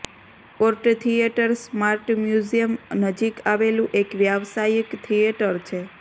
court Theatre Smart Museum નજીક આવેલું એક વ્યાવસાયિક થિયેટર છે